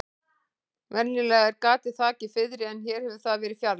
Venjulega er gatið þakið fiðri en hér hefur það verið fjarlægt.